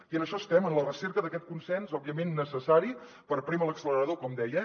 i en això estem en la recerca d’aquest consens òbviament necessari per prémer l’accelerador com deia